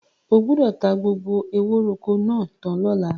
O gbọ́dọ̀ ta gbogbo ewóròkọ́ náà tán lọ́la!